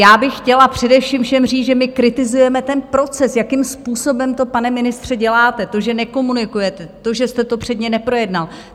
Já bych chtěla především všem říct, že my kritizujeme ten proces, jakým způsobem to, pane ministře, děláte, to, že nekomunikujete, to, že jste to předně neprojednal.